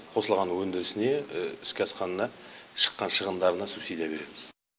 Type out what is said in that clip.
қосылған өндірісіне іске асқанына шыққан шығындарына субсидия береміз